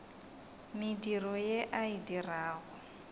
mediro ye a e dirago